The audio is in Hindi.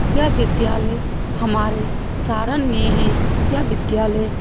यह विद्यालय हमारे सारण में है यह विद्यालय --